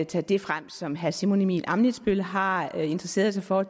tage det frem som herre simon emil ammitzbøll har interesseret sig for og